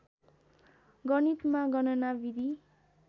गणितमा गणना विधि